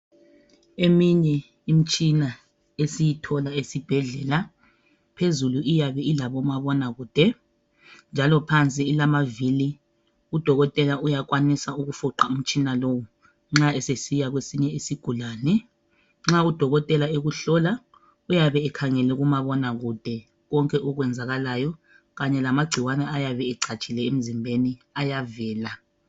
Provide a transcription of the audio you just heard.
Eminye Imitshina esiyithola esibhedlela phezulu iyabe ilabomabona kude njalo phansi ilamavili Udokotela uyakwanisa ukufuqa umtshina lo nxa esesiya kwesinye isigulane Nxa udokotela ekuhlola uyabe ekhangele kumabona kude konke okwenzakalayo kanye lamagcikwane ayabe ecatshile emzimbeni ayavela